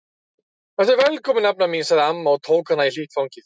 Vertu velkomin nafna mín sagði amma og tók hana í hlýtt fangið.